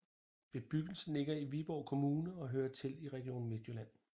Bebyggelsen ligger i Viborg Kommune og hører til Region Midtjylland